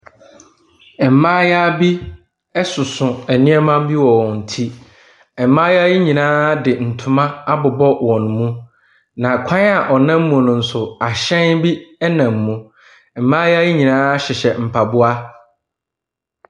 Mmayewa bi soso nneɛma bi wɔ wɔn ti. Mmayewa yi nyinaa de ntoma abobɔ wɔn mu. Na kwan a wɔnam mu no nso, ahyɛn bi nam mu. Mmaayewa yi nyinaa hyehyɛ mpaboa.